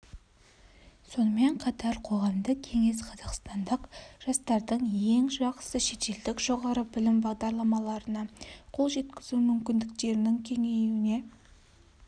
сонымен қатар қоғамдық кеңес қазақстандық жастардың ең жақсы шетелдік жоғары білім бағдарламаларына қол жеткізу мүмкіндіктерінің кеңеюіне